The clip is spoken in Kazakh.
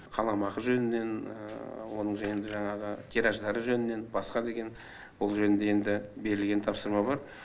қаламақы жөнінен оның енді жаңағы тираждары жөнінен басқа деген бұл жөнінде енді берілген тапсырма бар